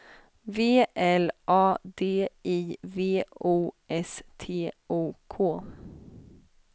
V L A D I V O S T O K